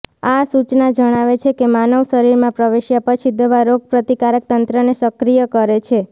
આ સૂચના જણાવે છે કે માનવ શરીરમાં પ્રવેશ્યા પછી દવા રોગપ્રતિકારક તંત્રને સક્રિય કરે છે